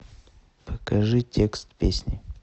покажи текст песни